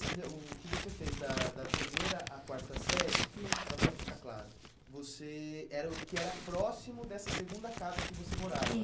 O que você fez da da primeira à quarta série, hum, só para ficar claro, você era o que era próximo dessa segunda casa que você morava.